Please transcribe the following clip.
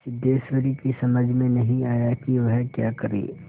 सिद्धेश्वरी की समझ में नहीं आया कि वह क्या करे